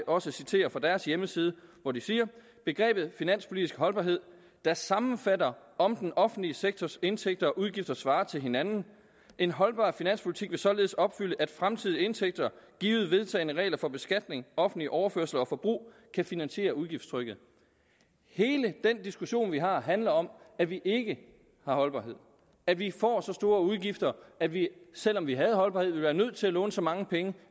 også citere fra deres hjemmeside hvor de siger begrebet finanspolitisk holdbarhed sammenfatter om den offentlige sektors indtægter og udgifter svarer til hinanden en holdbar finanspolitik vil således opfylde at fremtidige indtægter givet vedtagne regler for beskatning offentlige overførsler og forbrug kan finansiere udgiftstrykket hele den diskussion vi har handler om at vi ikke har holdbarhed at vi får så store udgifter at vi selv om vi havde holdbarhed ville være nødt til at låne så mange penge